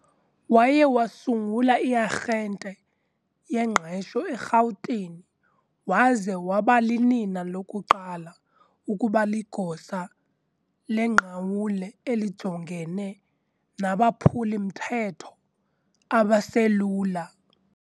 Waye wasungula i-arhente yengqesho eRhawutini waze wabalinina lokuqala ukuba ligosa lengqawule elijongene nabaphuli-mthetho abaselula